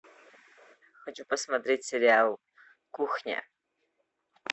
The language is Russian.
хочу посмотреть сериал кухня